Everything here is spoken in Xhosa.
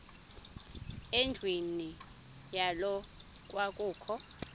endlwini yayo kwakukho